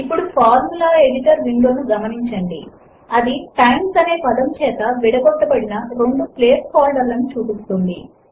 ఇప్పుడు formula editor window ను గమనించండి అది టైమ్స్ అనే పదము చేత విడగొట్టబడిన రెండు ప్లేస్ హోల్డర్లను చూపిస్తుంది